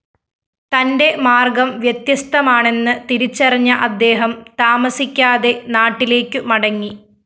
തന്റെ മാര്‍ഗ്ഗം വ്യത്യസ്തമാണെന്ന്‌ തിരിച്ചറിഞ്ഞ അദ്ദേഹം താമസിക്കാതെ നാട്ടിലേക്കുമടങ്ങി